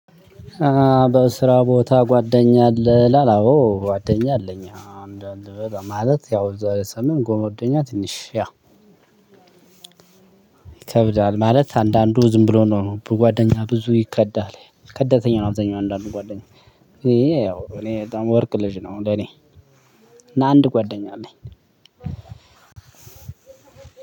በስራ ቦታ ጓደኛ አለህ አዎ ጓደኛ አለኝ እንዳንተ በጣም ማለት የዛሬ ዘመን ጓደኛ ትንሽ ይከብዳል ማለት አንዳንዱ ዝም ብሎ ነው። በጓደኛ ብዙ ይከዳል ከደተኛው አብዛኛው አንዳንድ ጓደኛ። ይሄ ያው እኔ በጣም ወርቅ ልጅ ነው ለኔ። እና አንድ ጓደኛ አለኝ።